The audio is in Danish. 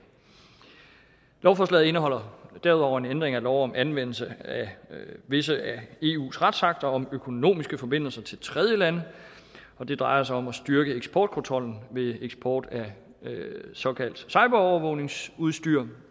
lovforslaget indeholder derudover en ændring af lov om anvendelse af visse af eus retsakter om økonomiske forbindelser til tredjelande og det drejer sig om at styrke eksportkontrollen ved eksport af såkaldt cyberovervågningsudstyr